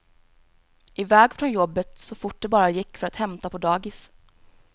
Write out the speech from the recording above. I väg från jobbet så fort det bara gick för att hämta på dagis.